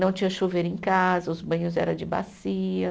Não tinha chuveiro em casa, os banhos era de bacia.